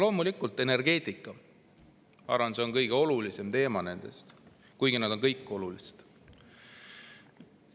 Loomulikult, energeetika, ma arvan, on neist kõige olulisem teema, kuigi kõik on olulised.